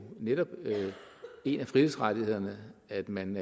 netop en af frihedsrettighederne at man